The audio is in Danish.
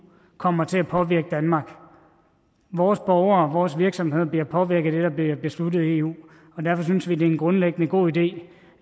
kommer til at påvirke danmark vores borgere vores virksomheder bliver påvirket af det der bliver besluttet i eu og derfor synes vi det er en grundlæggende god idé